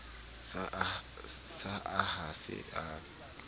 sa a ha se ame